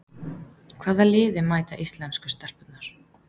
Hvaða liði mæta íslensku stelpurnar?